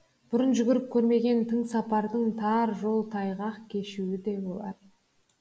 бұрын жүріп көрмеген тың сапардың тар жол тайғақ кешуі де болар